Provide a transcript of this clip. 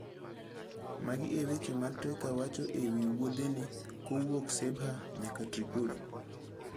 Magi e weche ma Trika wacho e wi wuodhene kowuok Sebha nyaka Tripoli: